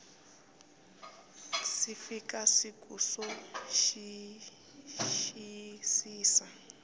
si fika siku ro xiyisisa